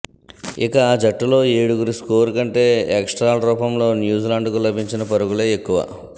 ఇక ఆ జట్టులో ఏడుగురి స్కోరు కంటే ఎక్స్ట్రాల రూపంలో న్యూజిలాండ్కు లభించిన పరుగులే ఎక్కువ